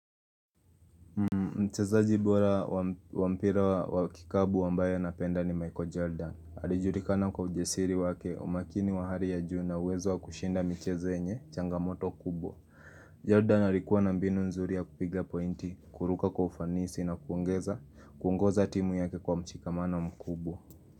Mchezaji bora wa mpira wa kikapu ambaye napenda ni Michael Jordan Alijulikana kwa ujasiri wake umakini wa hali ya juu na uwezo wa kushinda michezo yenye changamoto kubwa Jordan alikuwa na mbinu nzuri ya kupiga pointi kuruka kwa ufanisi na kuongeza kuongoza timu yake kwa mshikamano mkubwa.